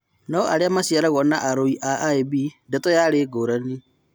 No-harĩ-arĩa maciaragwo na arũi a IB ndeto yarĩ ngũrani.